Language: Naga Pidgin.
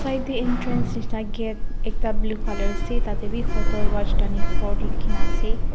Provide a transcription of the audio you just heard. side te entrance nishena gate ekta blue colour ase tate bi hotel rajdhani fort likhina ase.